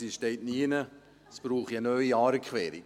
Es steht aber nirgends, es brauche eine neue Aarequerung.